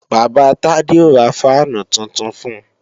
Bàbá Tade ó ra fáànù tuntun fun